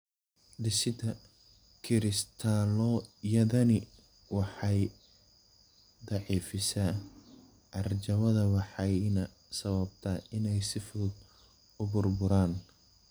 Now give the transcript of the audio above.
Dhisidda kiristaalo-yadani waxay daciifisaa carjawda waxayna sababtaa inay si fudud u burburaan.